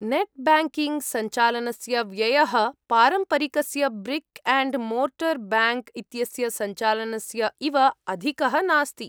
Net ब्याङ्किङ्ग्सञ्चालनस्य व्ययः, पारम्परिकस्य ब्रिक् अण्ड् मोर्टर् ब्याङ्क् इत्यस्य सञ्चालनस्य इव अधिकः नास्ति।